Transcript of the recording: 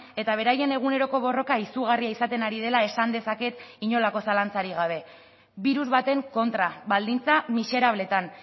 eta beraien eguneroko borroka izugarria izaten ari dela esan dezaket inolako zalantzarik gabe birus baten kontra baldintza miserableetan